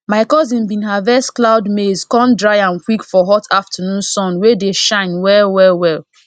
my cousin bin harvest cloud maize come dry am quick for hot afternoon sun wey dey shine well well well